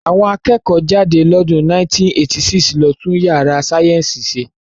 Àwọn akẹ́kọ̀ọ́ jáde lọ́dún 1986 ló tún yàrá sáyẹ́ǹsì ṣe